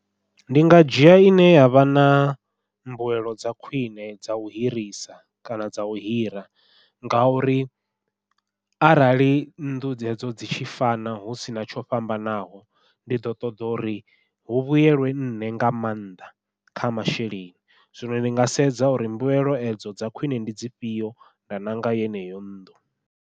Ndi nga dzhia ine yavha na mbuelo dza khwiṋe dzau hirisa kana dzau hira, ngauri arali nnḓu dzedzo dzi tshi fana hu sina tsho fhambanaho ndi ḓo ṱoḓa uri hu vhuyelwe nṋe nga maanḓa kha masheleni, zwino ndi nga sedza uri mbilaelo edzo dza khwiṋe ndi dzifhio nda ṋanga yeneyo nnḓu.